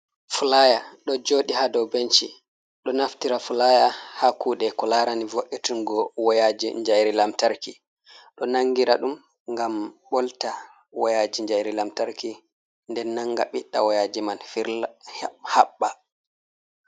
Flya ɗo joɗi ha dow benci. Ɗo naftira flaya ha kuɗe ko larani vo'itingo woyaji njairi lamtarki ɗo nangira ɗum ngam ɓolta woyaji njairi lamtarki nden nanga ɓiɗɗa wayaji mai haɓɓa.